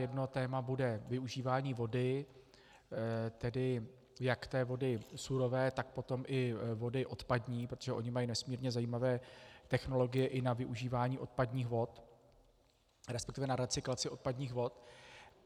Jedno téma bude využívání vody, tedy jak té vody surové, tak potom i vody odpadní, protože oni mají nesmírně zajímavé technologie i na využívání odpadních vod, respektive na recyklaci odpadních vod.